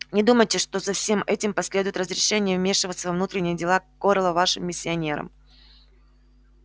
не думайте что за всем этим последует разрешение вмешиваться во внутренние дела корела вашим миссионерам